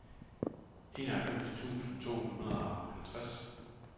enoghalvfems tusind to hundrede og halvtreds